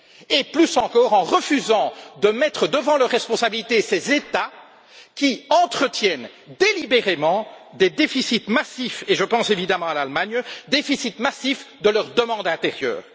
et, plus encore, par le refus de mettre devant leurs responsabilités ces États qui entretiennent délibérément des déficits massifs et je pense évidemment à l'Allemagne de leur demande intérieure.